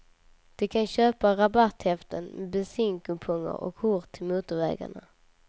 De kan köpa rabatthäften med bensinkuponger och kort till motorvägarna.